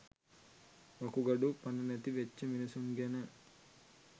වකුගඩු පණනැති වෙච්චි මිනිස්සු ගැන